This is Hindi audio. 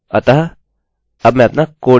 अतः अब मैं अपना कोड जाँचूँगा